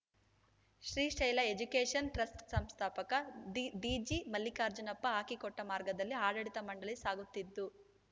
Srishaila education trust ಸಂಸ್ಥಾಪಕ D D G Mallikarjunappa ಹಾಕಿಕೊಟ್ಟಮಾರ್ಗದಲ್ಲಿ ಆಡಳಿತ ಮಂಡಳಿ ಸಾಗುತ್ತಿತ್ತು